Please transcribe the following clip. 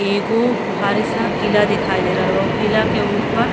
एगो भारी सा किल्ला दिखाई दे रहल बा। ऊ किल्ला के ऊपर --